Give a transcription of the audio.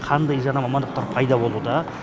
қандай жаңа мамандықтар пайда болуда